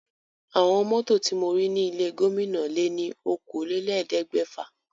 Àwọn mọ́tò ti mo rí ní ilé gómìnà lé ní okòólélẹ́ẹ̀ẹ́dẹ́gbẹ́fà.